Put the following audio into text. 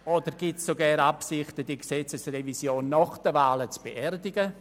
Oder gibt es sogar Absichten, die Gesetzesrevision nach den Wahlen zu beerdigen?